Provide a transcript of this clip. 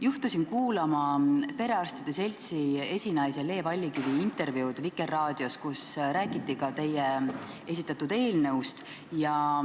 Juhtusin kuulama perearstide seltsi esinaise Le Vallikivi intervjuud Vikerraadios, kus räägiti ka teie esitatud eelnõust.